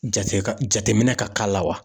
Jate ka jateminɛ ka k'a la wa?